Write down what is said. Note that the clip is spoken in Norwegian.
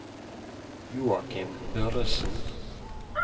Joakim Børresen